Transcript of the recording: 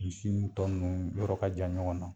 Misiw tɔ ninnu yɔrɔ ka jan ɲɔgɔn na.